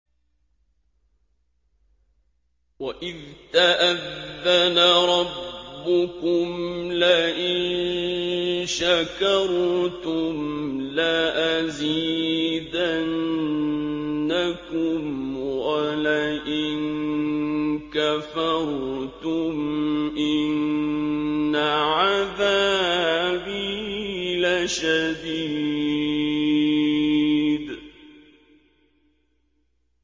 وَإِذْ تَأَذَّنَ رَبُّكُمْ لَئِن شَكَرْتُمْ لَأَزِيدَنَّكُمْ ۖ وَلَئِن كَفَرْتُمْ إِنَّ عَذَابِي لَشَدِيدٌ